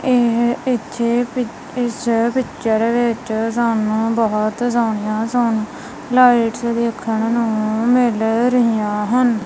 ਇਸ ਪਿੱਛੇ ਇਸ ਪਿਚਰ ਵਿੱਚ ਸਾਨੂੰ ਬਹੁਤ ਸੋਣੀਆਂ ਸੋਣੀਆਂ ਲਾਈਟਸ ਦੇਖਣ ਨੂੰ ਮਿਲ ਰਹੀਆਂ ਹਨ।